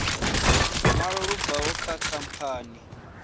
ṅwalo lu bvaho kha khamphani